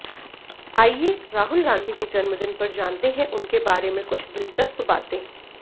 आइए राहुल गांधी के जन्मदिन पर जानते हैं उनके बाते में कुछ दिलचस्प बातें